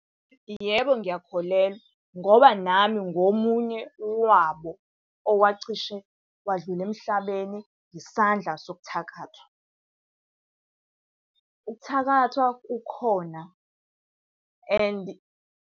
Yebo ngiyakholelwa, ngoba nami ngingomunye wabo owacishe wadlula emhlabeni isandla sokuthakathwa. Uthakathwa kukhona and